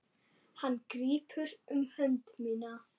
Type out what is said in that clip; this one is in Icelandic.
Hann grípur um hönd mína.